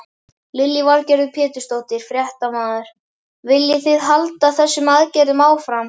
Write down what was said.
Lillý Valgerður Pétursdóttir, fréttamaður: Viljið þið halda þessum aðgerðum áfram?